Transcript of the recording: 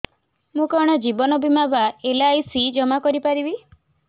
ମୁ କଣ ଜୀବନ ବୀମା ବା ଏଲ୍.ଆଇ.ସି ଜମା କରି ପାରିବି